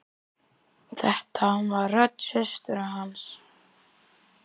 Þetta var rödd systur hans.